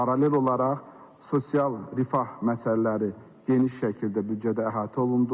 Paralel olaraq sosial rifah məsələləri geniş şəkildə büdcədə əhatə olundu.